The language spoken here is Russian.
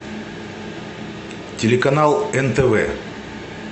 телеканал нтв